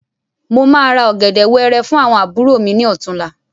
Mo máa ra ọ̀gẹ̀dẹ̀ wẹẹrẹ fún àwọn àbúrò mi ní ọ̀túnla.